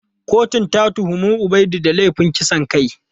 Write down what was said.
Kotun ta tuhumi Ubaidu da laifin kisan kai.